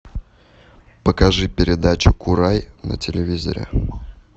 покажи передачу курай на телевизоре